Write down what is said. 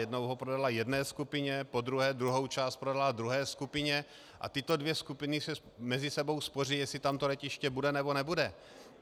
Jednou ho prodala jedné skupině, podruhé druhou část prodala druhé skupině a tyto dvě skupiny se mezi sebou sváří, jestli tam to letiště bude, nebo nebude.